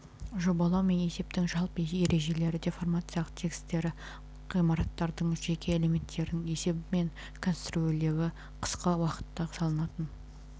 жобалау мен есептің жалпы ережелері деформациялық тігістері ғимараттардың жеке элементтерінің есебі мен конструирлеуі қысқы уақытта салынатын